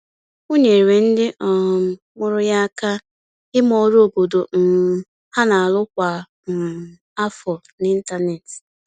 O nyeere ndị um mụrụ ya aka ime ọrụ obodo um ha n'arụ kwa um afọ n’ịntanetị.